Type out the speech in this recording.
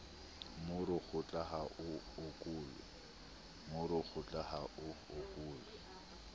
moro kgotla ha o okolwe